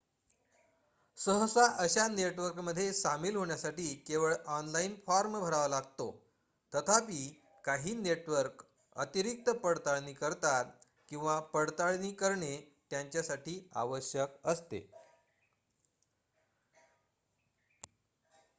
सहसा अशा नेटवर्कमध्ये सामील होण्यासाठी केवळ ऑनलाइन फॉर्म भरावा लागतो तथापि काही नेटवर्क अतिरिक्त पडताळणी करतात किंवा पडताळणी करणे त्यांच्यासाठी आवश्यक असते